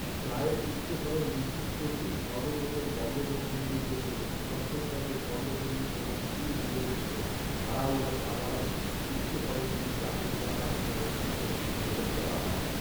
চায়ের উচ্চফলন নিশ্চিত করতে সর্বপ্রথম বঙ্গবন্ধুর নির্দেশে চট্টগ্রামের কর্ণফুলি এবং শ্রীমঙ্গলস্থ ভাড়াউড়া চা বাগানে উচ্চফলনশীল জাতের চারা রোপণের উদ্যোগ গ্রহণ করা হয়